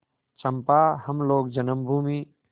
चंपा हम लोग जन्मभूमि